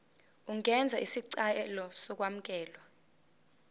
ungenza isicelo sokwamukelwa